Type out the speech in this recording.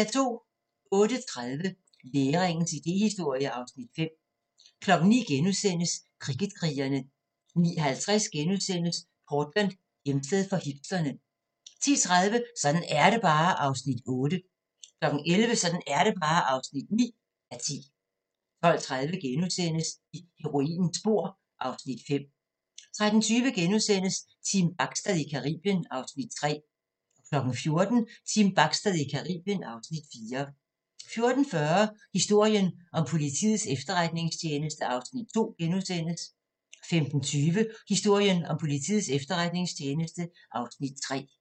08:30: Læringens idéhistorie (Afs. 5) 09:00: Kricket-krigerne * 09:50: Portland: Hjemsted for hipsterne * 10:30: Sådan er det bare (8:10) 11:00: Sådan er det bare (9:10) 12:30: I heroinens spor (Afs. 5)* 13:20: Team Bachstad i Caribien (Afs. 3)* 14:00: Team Bachstad i Caribien (Afs. 4) 14:40: Historien om Politiets Efterretningstjeneste (Afs. 2)* 15:20: Historien om Politiets Efterretningstjeneste (Afs. 3)